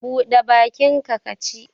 Buɗe bakinka ka ci!